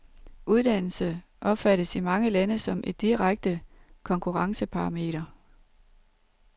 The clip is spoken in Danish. Uddannelse opfattes i mange lande som et direkte konkurrenceparameter.